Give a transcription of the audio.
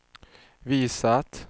visat